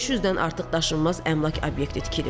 500-dən artıq daşınmaz əmlak obyekti tikilib.